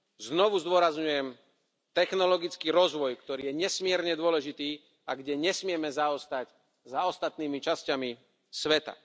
Znovu zdôrazňujem technologický rozvoj, ktorý je nesmierne dôležitý a kde nesmieme zaostať za ostatnými časťami sveta.